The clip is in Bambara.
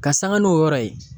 Ka sanka n'o yɔrɔ ye.